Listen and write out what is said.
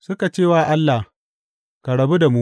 Suka ce wa Allah, Ka rabu da mu!